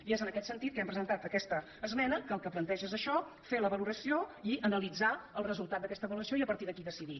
i és en aquest sentit que hem presentat aquesta esmena que el que planteja és això fer la valoració i analitzar el resultat d’aquesta avaluació i partir d’aquí decidir